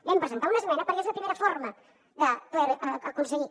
hi vam presentar una esmena perquè és la primera forma de poder ho aconseguir